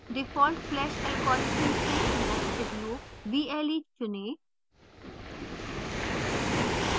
default flash algorithm से nested loops vle चुनें